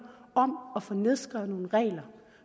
om at få nedskrevet nogle regler